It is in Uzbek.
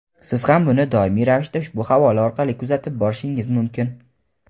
siz ham buni doimiy ravishda ushbu havola orqali kuzatib borishingiz mumkin.